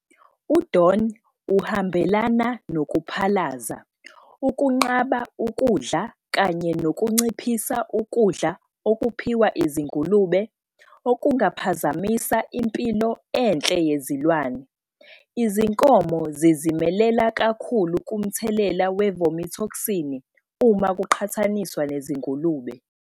U-DON uhambelana nokuphalaza, ukunqaba ukudla kanye nokunciphisa ukudla okuphiwa izingulube, okungaphazamisa impilo enhle yezilwane. Izinkomo zizimelela kakhulu kumthelela we-vomitoxini uma kuqhathaniswa nezingulube.